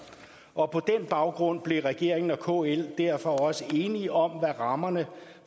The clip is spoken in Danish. og på den baggrund blev regeringen og kl derfor også enige om hvad rammerne